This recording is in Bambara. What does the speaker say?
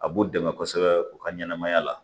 A b'u dɛmɛ kosɛbɛ u ka ɲɛnɛmaya la